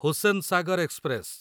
Hussain Sagar express